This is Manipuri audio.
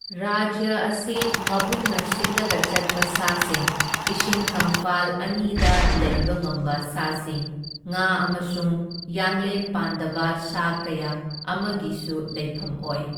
ꯔꯥꯖ꯭ꯌ ꯑꯁꯤ ꯃꯕꯨꯛꯅ ꯁꯤꯠꯂꯒ ꯆꯠꯄ ꯁꯥꯁꯤꯡ, ꯏꯁꯤꯡ ꯀꯪꯐꯥꯜ ꯑꯅꯤꯗ ꯂꯩꯕ ꯉꯝꯕ ꯁꯥꯁꯤꯡ, ꯉꯥ ꯑꯃꯁꯨꯡ ꯌꯥꯡꯂꯦꯟ ꯄꯥꯟꯗꯕ ꯁꯥ ꯀꯌꯥ ꯑꯃꯒꯤꯁꯨ ꯂꯩꯐꯝ ꯑꯣꯏ꯫